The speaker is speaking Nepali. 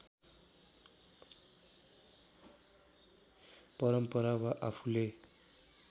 परम्परा वा आफूले